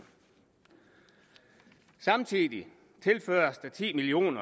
samtidig tilføres der ti million